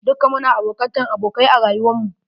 Dukka muna bokatan abokai a rayuwar mu.